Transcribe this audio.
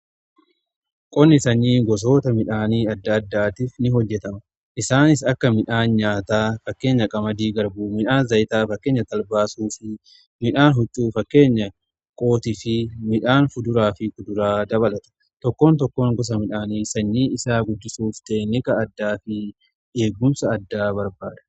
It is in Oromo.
qonni sanyii gosoota midhaanii adda addaatiif ni hojjetama. isaanis akka midhaan nyaataa fakkeenyaf qamadii, garbuu, midhaan zaayitaa fakkeenya talbaa fi suufii midhaan huccuu fakkeenya kootii fi midhaan fuduraa fi muduraa dabalata. tokkoon tokkoon gosa midhaanii sanyii isaa guddisuuf teeknika addaa fi eeggumsa addaa barbaada.